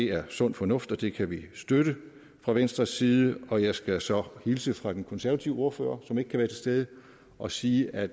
er sund fornuft og det kan vi støtte fra venstres side og jeg skal så hilse fra den konservative ordfører som ikke kan være stede og sige at